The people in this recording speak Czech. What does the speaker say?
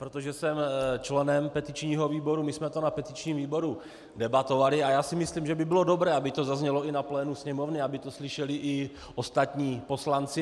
Protože jsem členem petičního výboru, my jsme to na petičním výboru debatovali a já si myslím, že by bylo dobré, aby to zaznělo i na plénu Sněmovny, aby to slyšeli i ostatní poslanci.